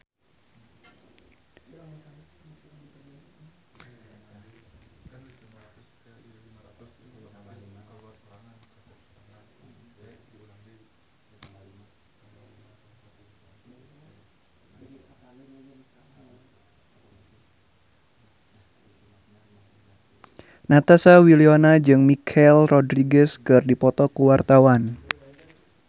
Natasha Wilona jeung Michelle Rodriguez keur dipoto ku wartawan